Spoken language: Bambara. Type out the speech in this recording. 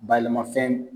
Bayɛlɛmafɛn